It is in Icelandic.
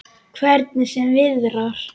Hvernig sem viðrar.